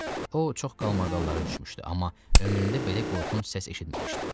O, çox qalmaqallara düşmüşdü, amma ömründə belə qorxunc səs eşitməmişdi.